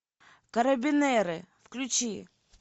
карабинеры включи